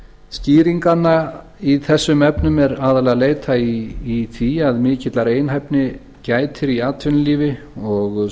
skýringanna í þessum efnum er aðallega að leita í því að mikillar einhæfni gætir í atvinnulífi og